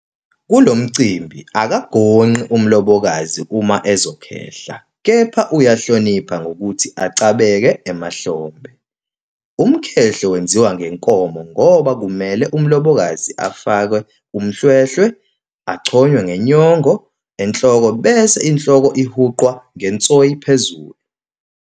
Kulo mcimbi akagonqi umlobokazi uma ezokhehla kepha uyahlonipha ngokuthi acabeke emahlombe. Umkhehlo wenziwa ngenkomo ngoba kumele umlobokazi afake umhlwehlwe, achonywe nenyongo enhloko bese inhloko uhuqwa ngensoyi phezulu.